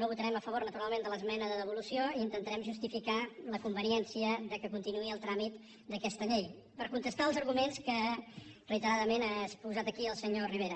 no votarem a favor naturalment de l’esmena de devolució i intentarem justificar la conveniència que continuï el tràmit d’aquesta llei per contestar els arguments que reiteradament ha exposat aquí el senyor rivera